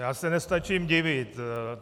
Já se nestačím divit.